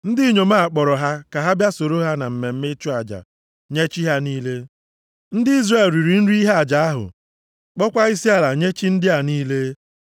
Ndị inyom a kpọrọ ha ka ha bịa soro na mmemme ịchụ aja nye chi ha niile. Ndị Izrel riri nri ihe aja ahụ, kpọọkwa isiala nye chi ndị a niile.